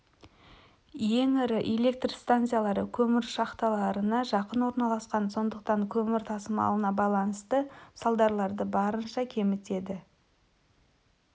ең ірі электр станциялары көмір шахталарына жақын орналасқан сондықтан көмір тасымалына байланысты салдарларды барынша кемітеді